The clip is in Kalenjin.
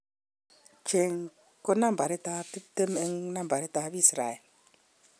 Cheng ko nabarit 20 eng nabarit ap Israel